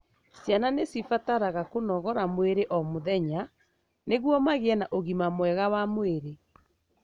Ciana nĩcibataraga kũnogora mwĩrĩ o mũthenya nĩguo magĩe na ũgima mwega wa mwĩri.